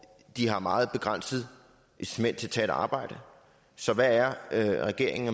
de har meget begrænset incitament til at tage et arbejde så hvad er regeringen